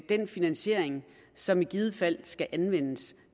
den finansiering som i givet fald skal anvendes